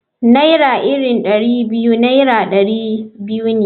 Naira iri Dari biyu Naira dari biyu ne.